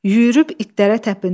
Yüyürüb itlərə təpindi.